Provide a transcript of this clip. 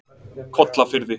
Kollafirði